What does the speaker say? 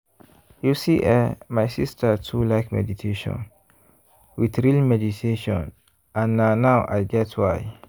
you see eh my sister too like meditation with real meditation and na now i get why.